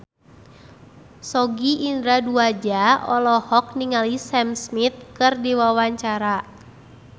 Sogi Indra Duaja olohok ningali Sam Smith keur diwawancara